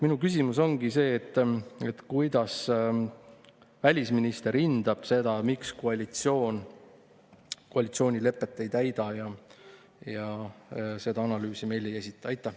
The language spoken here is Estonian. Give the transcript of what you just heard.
Minu küsimus ongi: mis hinnangu annab välisminister sellele, et koalitsioon koalitsioonilepet ei täida ja seda analüüsi meile ei esita?